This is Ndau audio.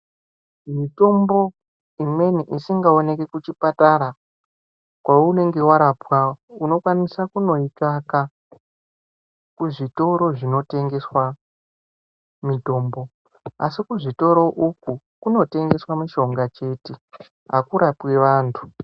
Mutombo imwenibisingaoki kuchipatara kweunenga warapwa unokwanisa kundoitsvaka kuzvitoro zvinotengeswe mutombo asi kuzvitoro uku kunotengeswe mushonga chete akurapwi vantu.